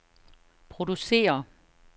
producere